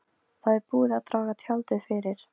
Það er búið að draga tjaldið fyrir.